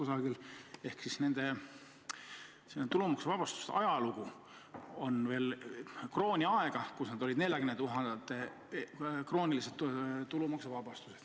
Selline tulumaksuvabastuse ajalugu ulatub krooniaega, kus tulumaksuvabastuse piiriks oli 40 000 krooni.